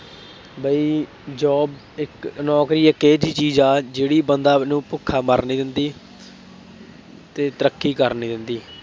ਬਈ job ਇੱਕ, ਨੌਕਰੀ ਇੱਕ ਇਹੋ ਜਿਹੀ ਚੀਜ਼ ਆ, ਜਿਹੜੀ ਬੰਦਾ ਨੂੰ ਭੁੱਖਾ ਮਰਨ ਨਹੀਂ ਦਿੰਦੀ ਅਤੇ ਤਰੱਕੀ ਕਰਨ ਨਹੀਂ ਦਿੰਦੀ।